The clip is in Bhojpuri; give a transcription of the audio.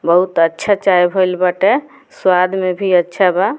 बहुत अच्छा चाय भइल बाटे स्वाद में भी अच्छा बा।